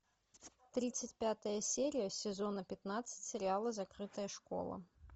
тридцать пятая серия сезона пятнадцать сериала закрытая школа